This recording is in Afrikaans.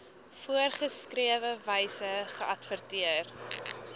voorgeskrewe wyse geadverteer